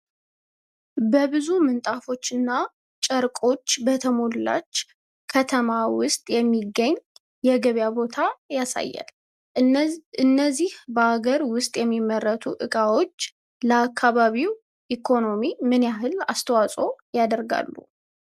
በብዙ ምንጣፎችና ጨርቆች በተሞላች ከተማ ውስጥ የሚገኝ የገበያ ቦታ ያሳያል። እነዚህ በአገር ውስጥ የሚመረቱ ዕቃዎች ለአካባቢው ኢኮኖሚ ምን ያህል አስተዋጽኦ ያደርጋሉ?